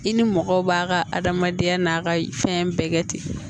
I ni mɔgɔw b'a ka adamadenya n'a ka fɛn bɛɛ kɛ ten